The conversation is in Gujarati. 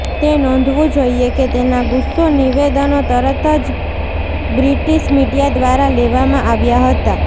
તે નોંધવું જોઇએ કે તેના ગુસ્સો નિવેદનો તરત જ બ્રિટિશ મિડિયા દ્વારા લેવામાં આવ્યા હતા